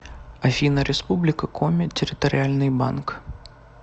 афина республика коми территориальный банк